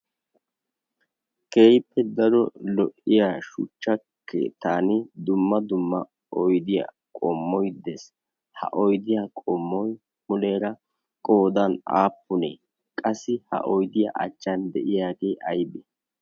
keippe daro lo'iya shuchchakke tan dumma dumma oydiyaa qommoi dees. ha oydiyaa qommoi muleera qoodan aappunee qassi ha oidiyaa achchan de'iyaagee aybe?